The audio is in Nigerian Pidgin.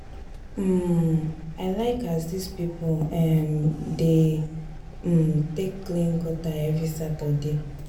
um I like as dis pipo um dey um take clean gutter every Saturday.